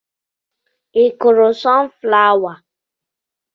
I kụrụ sun flawa?